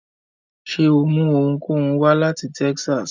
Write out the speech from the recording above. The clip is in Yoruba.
Ṣe o mú ohunkóhun wá lati Texas?